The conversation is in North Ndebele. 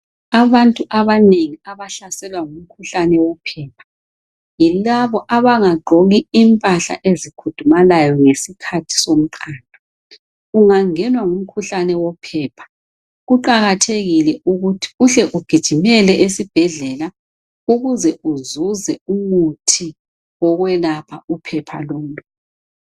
Abantu abanengi abahlaselwa ngumkhuhlane wophepha, yilabo abangagqoki impahla ezikhudumalayo ngesikhathi somqando. Ungangenwa ngumkhuhlane wophepha kuqakathekile ukuthi uhle ugijimele esibhedlela ukuze uzuze umuthi wokwelapha uphepha lolu.